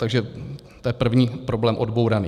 Takže to je první problém odbouraný.